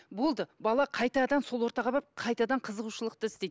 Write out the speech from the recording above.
болды бала қайтадан сол ортаға барып қайтадан қызығушылықты іздейді